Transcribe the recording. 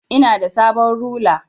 Ina da sabon rula.